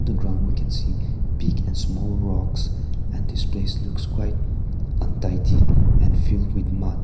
the ground we can see big and small rocks and this space looks quite untidy and filled with mud.